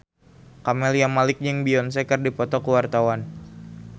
Camelia Malik jeung Beyonce keur dipoto ku wartawan